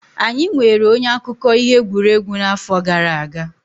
Anyị nweere onye akụkọ ihe egwuregwu n'afọ gara aga.